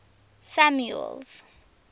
samuel's